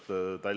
Aitäh!